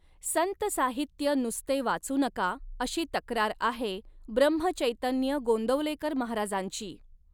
संत साहित्य नुसते वाचू नका अशी तक्रार आहे ब्रम्हचैतन्य गोंदवलेकर महाराजांची .